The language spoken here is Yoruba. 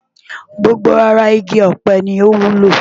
Gbogbo ara igi ọ̀pẹ ni ó wúlò.